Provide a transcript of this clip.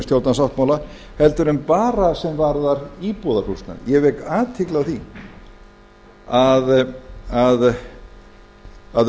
stjórnarsáttmála heldur en bara sem varðar íbúðarhúsnæði ég vek athygli á því að